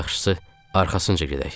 Ən yaxşısı arxasınca gedək.